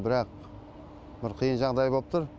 бірақ бір қиын жағдай боп тұр